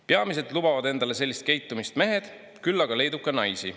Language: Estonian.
Peamiselt lubavad endale sellist käitumist mehed, küll aga leidub ka naisi.